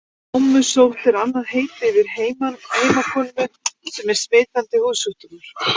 Ámusótt er annað heiti yfir heimakomu sem er smitandi húðsjúkdómur.